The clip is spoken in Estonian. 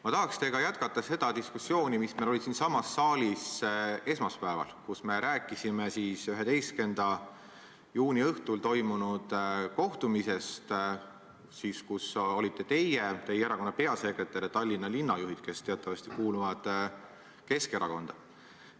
Ma tahaks teiega jätkata seda diskussiooni, mis meil oli siinsamas saalis esmaspäeval, kui me rääkisime 11. juuni õhtul toimunud kohtumisest, kus olite teie, teie erakonna peasekretär ja Tallinna linnajuhid, kes teatavasti kuuluvad Keskerakonda.